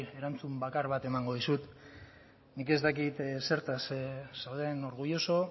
erantzun bakar bat emango dizut nik ez dakit zertaz zauden orgulloso